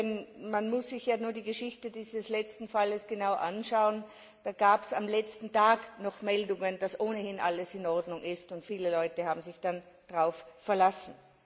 Denn man muss sich ja nur die Geschichte dieses letzten Falles genau anschauen Da gab es am letzten Tag noch Meldungen, dass ohnehin alles in Ordnung sei, und viele Leute haben sich dann darauf verlassen.